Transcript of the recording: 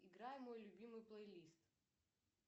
играй мой любимый плей лист